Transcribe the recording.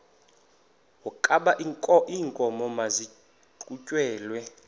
wokaba iinkomo maziqhutyelwe